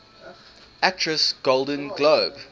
actress golden globe